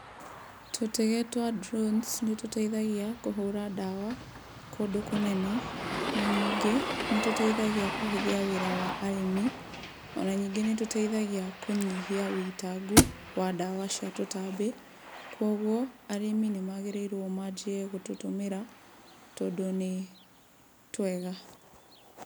Tũtege twa drones nĩ tũteithagia kũhũra ndawa kũndũ kũnene, na ningĩ nĩ tũteithagia kũhũthia wĩra wa arĩmi, ona ningĩ nĩ tũteithagia kũnyihia wũitangu wa ndawa cia tũtambi. Koguo arĩmi nĩ magĩrĩirwo manjie gũtũtũmĩra, tondũ nĩ twega.